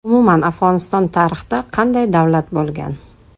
Umuman Afg‘oniston tarixda qanday davlat bo‘lgan?